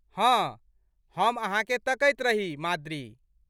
हँ, हम अहाँकेँ तकैत रही माद्री।